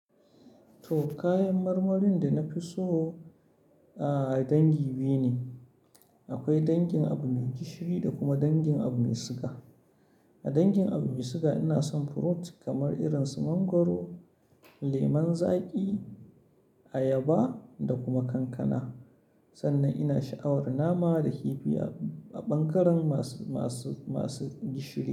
To, kayan marmarin da na fi so a dangi biyu ne. Akwai dangin abu mai gishiri da kuma dangin abu mai siga. A dangin abu mai siga ina son furut kamar irin su mangwaro, lemon zaƙi, ayaba da kuma kankana. Sannan ina sha'awar nama da hibiya a bangaren masu, masu, masu gishiri.